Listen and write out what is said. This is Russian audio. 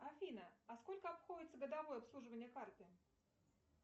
афина а сколько обходится годовое обслуживание карты